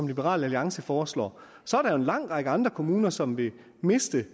liberal alliance foreslår så er der jo en lang række andre kommuner som vil miste